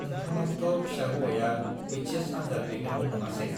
नोंथांनाबोथ' फिसा हौवाया एइचएस आन्जाद लिरदोंमोन नङासे?